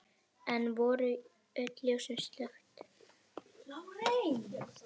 Enn voru öll ljós slökkt.